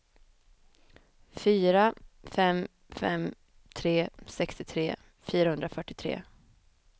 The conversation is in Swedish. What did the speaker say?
fyra fem fem tre sextiotre fyrahundrafyrtiotre